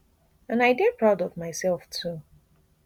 and i dey proud of mysef too